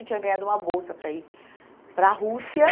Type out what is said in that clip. E tinha ganhado uma bolsa para ir para a Rússia.